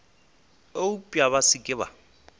eupša ba se ke ba